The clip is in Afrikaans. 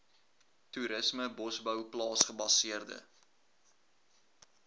toerisme bosbou plaasgebaseerde